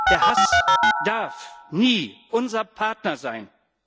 Der Hass darf nie unser Partner sein!